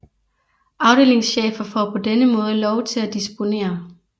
Afdelingschefer får på denne måde lov til at disponere